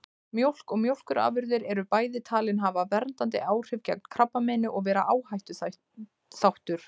Mjólk og mjólkurafurðir eru bæði talin hafa verndandi áhrif gegn krabbameini og vera áhættuþáttur.